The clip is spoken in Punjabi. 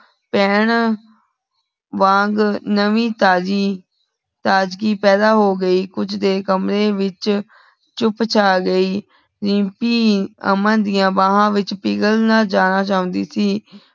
ਪਹੀਂਢ ਵਾਂਘ ਨਵੀਂ ਤਾਜੀ ਤਾਝੱਗੀ ਪੈਦਾ ਹੋ ਗਈ ਕੂਚ ਦੇਰ ਕਮਰੇ ਵਿਚ ਚੁੱਪ ਚਾ ਗਈ ਰੀਮਪੀ ਅਮਨ ਦੀਆ ਬਾਹਾਂ ਵਿਚ ਪੀਗਲ ਨਾ ਜਾਣਾ ਚਾਹੁੰਧੀ ਸੀ